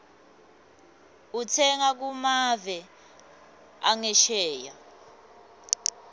utsenga kumave angesheya